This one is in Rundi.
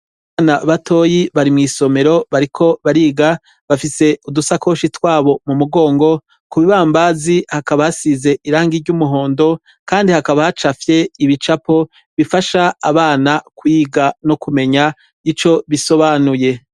Bana batoyi bari mw'isomero bariko bariga bafise udusakoshi twabo mu mugongo ku bibambazi hakaba hasize irangi ry'umuhondo, kandi hakaba hacafye ibicapo bifasha abana kwiga no kumenya ico bisobanuye.